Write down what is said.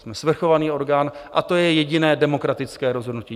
Jsme svrchovaný orgán a to je jediné demokratické rozhodnutí.